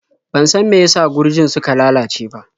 Ban san meyasa gurjin suka lalace ba.